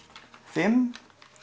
fimm